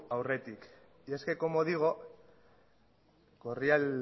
aurretik y es que como digo corría